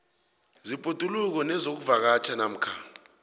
zebhoduluko nezokuvakatjha namkha